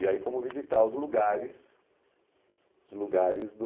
E aí fomos visitar os lugares, os lugares do...